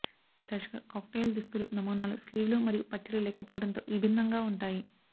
తరచుగా కాక్టెయిల్ దుస్తులు నమూనాలు స్లీవ్లు మరియు పట్టీలు లేకపోవటంతో విభిన్నంగా ఉంటాయి